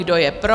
Kdo je pro?